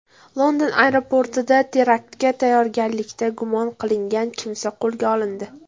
London aeroportida teraktga tayyorgarlikda gumon qilingan kimsa qo‘lga olindi.